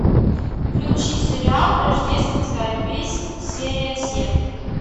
включи сериал рождественская песнь серия семь